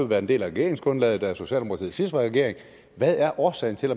været en del af regeringsgrundlaget da socialdemokratiet regering så hvad er årsagen til